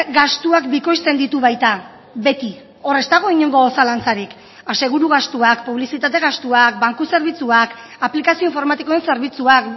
gastuak bikoizten ditu baita beti hor ez dago inongo zalantzarik aseguru gastuak publizitate gastuak banku zerbitzuak aplikazio informatikoen zerbitzuak